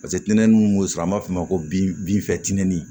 Paseke tɛntɛnni mun be sɔrɔ an b'a f'o ma ko bin binfi tinin